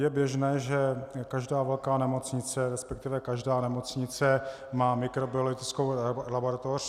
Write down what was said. Je běžné, že každá velká nemocnice, respektive každá nemocnice má mikrobiologickou laboratoř.